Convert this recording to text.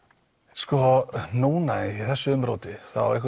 sko núna í þessu umróti